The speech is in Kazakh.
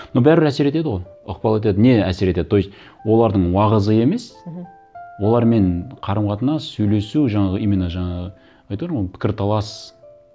но бәрібір әсер етеді ғой ықпал етеді не әсер етеді то есть олардың уағызы емес мхм олармен қарым қатынас сөйлесу жаңағы именно жаңағы айтып едім ғой пікірталас